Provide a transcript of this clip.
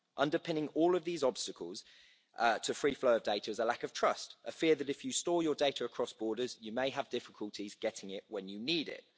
Underpinning all of these obstacles to free flow of data is a lack of trust, a fear that if you store your data across borders you may have difficulties getting it when you need it.